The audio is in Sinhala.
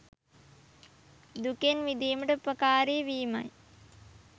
දුකෙන් මිදීමට උපකාරී වීමයි.